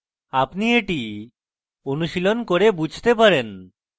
আপনি এটি অনুশীলন করে বুঝতে পারেন